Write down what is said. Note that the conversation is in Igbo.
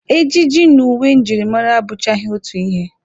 Ejiji na uwe njirimara abụchaghị otu ihe.